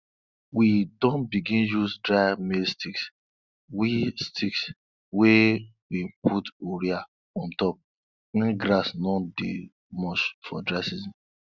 we don begin use dry maize sticks wey sticks wey we put urea on top when grass no dey much for dry season